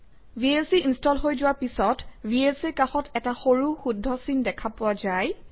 VLC install হৈ যোৱাৰ পিছত VLC ৰ কাষত এটা সৰু শুদ্ধ চিন দেখা পোৱা যায়